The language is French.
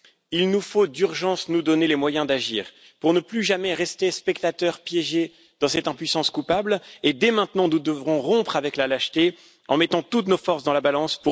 Il nous faut d'urgence nous donner les moyens d'agir pour ne plus jamais rester spectateurs piégés dans cette impuissance coupable, et dès maintenant, nous devrons rompre avec la lâcheté en mettant toutes nos forces dans la balance.